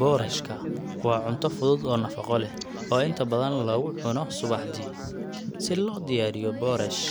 Boorashka waa cunto fudud oo nafaqo leh, oo inta badan lagu cuno subaxdii. Si loo diyaariyo boorash,